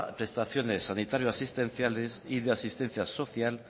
prestaciones sanitario asistenciales y de asistencia social